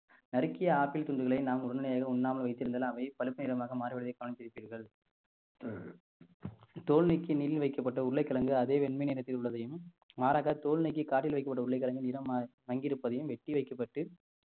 நறுக்கிய ஆப்பிள் துண்டுகளை நாம் உடனடியாக உண்ணாமல் வைத்திருந்தால் அவை பழுப்பு நிறமாக மாறுவதை கவனித்திருப்பீர்கள் தோல் நீக்கி வைக்கப்பட்ட உருளைக்கிழங்கு அதே வெண்மை நிறத்தில் உள்ளதையும் மாறாக தோல் நீக்கி காற்றில் வைக்கப்பட்ட உருளைக்கிழங்கின் நிறம் மங்கியிருப்பதையும் வெட்டி வைக்கப்பட்டு